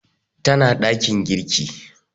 Tana ɗakin girki